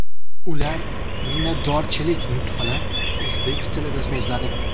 Ular minnatdorchilik nutqini o‘zbek tilida so‘zladi .